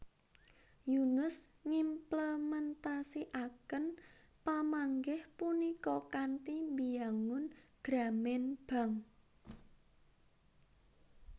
Yunus ngimplementasikaken pamanggih punika kanthi mbiyangun Grameen Bank